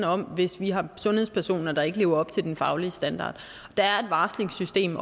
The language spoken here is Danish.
hvis vi har sundhedspersoner der ikke lever op til den faglige standard der er et varslingssystem